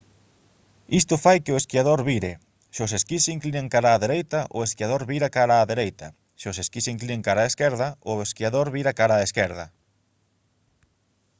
isto fai que o esquiador vire se os esquís se inclinan cara á dereita o esquiador vira cara á dereita se os esquís se inclinan cara á esquerda o esquiador vira cara á esquerda